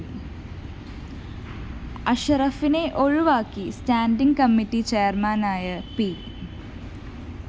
അഷറഫിനെ ഒഴിവാക്കി standing committee ചെയര്‍മാനായ P